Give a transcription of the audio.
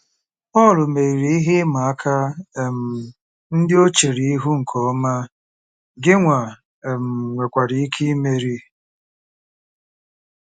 Pọl meriri ihe ịma aka um ndị o chere ihu nke ọma, gịnwa um nwekwara ike imeri.